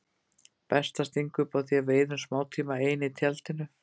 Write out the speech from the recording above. Best að stinga upp á því að við eyðum smátíma ein í tjaldinu.